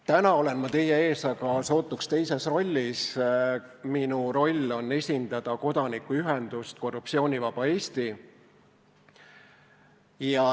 Täna olen ma teie ees aga sootuks teises rollis, esindan kodanikuühendust Korruptsioonivaba Eesti.